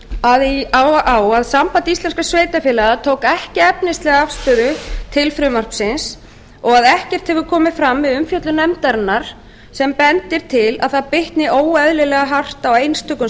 meiri hlutinn bendir á að samband íslenskra sveitarfélaga tók ekki efnislega afstöðu til frumvarpsins og að ekkert hefur komið fram við umfjöllun nefndarinnar sem bendir til að það bitni óeðlilega hart á einstökum